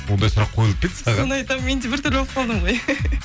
ондай сұрақ қойылыпа па еді саған соны айтамын мен де бір түрлі болып қалдым ғой